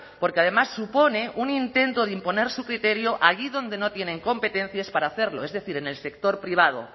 porque además supone un intento de imponer su criterio allí donde no tienen competencias para hacerlo es decir en el sector privado